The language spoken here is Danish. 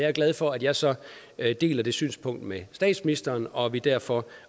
er glad for at jeg så deler det synspunkt med statsministeren og at vi derfor